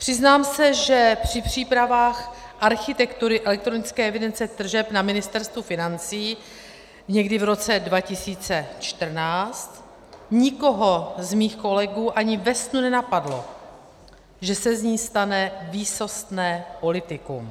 Přiznám se, že při přípravách architektury elektronické evidence tržeb na Ministerstvu financí někdy v roce 2014 nikoho z mých kolegů ani ve snu nenapadlo, že se z ní stane výsostné politikum.